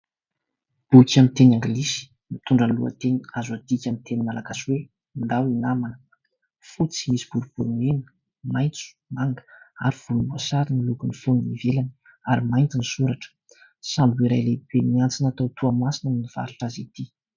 Boky amin'ny teny anglisy mitondra amin'ny lohateny azo adikana amin'ny teny malagasy oe " Ndao hinamana". Fotsy misy boribory mena, maintso, manga ary volom-boasary no lokony foniny ivelany ary maintsy no soratra. Sambos iray lehibe miantsona tao Toamasina no nitatitra azy ity.